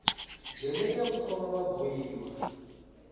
jele iya ku khoma va bohiwa